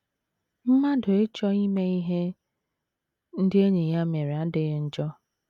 Mmadụ ịchọ ime ihe ndị enyi ya mere adịghị njọ.